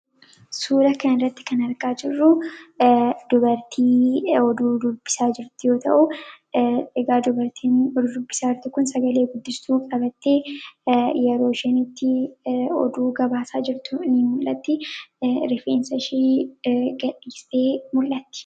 Suura kana irratti kan argaa jirru, dubartii oduu dubbisaa jirtu yoo ta'u, dubartiin oduu dubbisaa jirtu Kun sagalee guddistuu qabattee yeroo isheen itti oduu gabaasaa jirtu ni mul'atti. Rifeensa ishee gad dhiistee mul'atti.